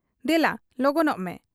ᱫᱮᱞᱟ ᱞᱚᱜᱚᱱᱚᱜ ᱢᱮ ᱾'